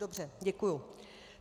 Dobře, děkuji.